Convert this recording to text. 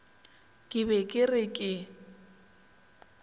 ke be ke re ke